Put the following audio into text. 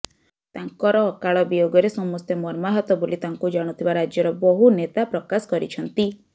ତାଙ୍କର ଅକାଳ ବିୟୋଗରେ ସମସ୍ତେ ମର୍ମାହତ ବୋଲି ତାଙ୍କୁ ଜାଣୁଥିବା ରାଜ୍ୟର ବହୁନେତା ପ୍ରକାଶ କରିଛନ୍ତି